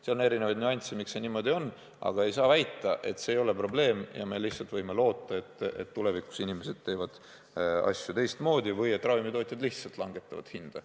Seal on erinevaid nüansse, miks see niimoodi on, aga ei saa väita, et see ei ole probleem ja me võime lihtsalt loota, et tulevikus teevad inimesed asju teistmoodi või ravimitootjad lihtsalt langetavad hinda.